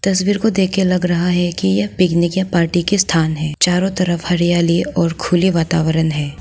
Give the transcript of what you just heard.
तस्वीर को देखके लग रहा है कि यह पिकनिक या पार्टी का स्थान है। चारों तरफ हरियाली और खुली वातावरण है।